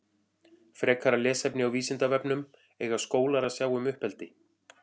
Frekara lesefni á Vísindavefnum Eiga skólar að sjá um uppeldi?